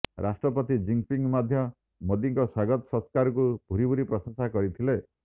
ରାଷ୍ଟ୍ରପତି ଜିନପିଙ୍ଗ ମଧ୍ୟ ମୋଦିଙ୍କ ସ୍ୱାଗତ ସତ୍କାରକୁ ଭୁରି ଭୁରି ପ୍ରଶଂସା କରିଥିଲେ